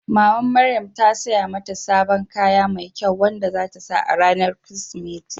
Mamar Maryan ta saya mata sabon kaya mai kyau wanda za ta sa a ranar Kirsimeti.